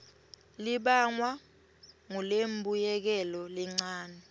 libangwa ngulembuyekelo lencane